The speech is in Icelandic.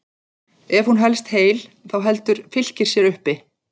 Ef hún helst heil þá heldur Fylkir sér uppi.